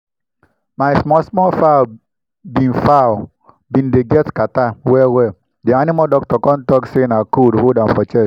my small small fowl been fowl been dey get catarrh well well the animal doctor come talk say na cold hold dem for chest